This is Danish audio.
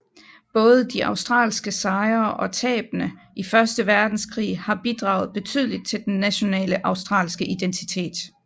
Både de australske sejre og tabene i første verdenskrig har bidraget betydeligt til den nationale australske identitet